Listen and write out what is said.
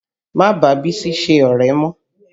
Má bàá Bísí sọ̀rẹ́ mọ́!